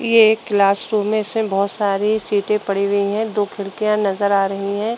ये एक class room है। इसमें बोहत सारी सीटें पड़ी हुई हैं। दो खिड़कियां नजर आ रही हैं।